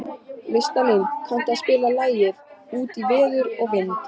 Listalín, kanntu að spila lagið „Út í veður og vind“?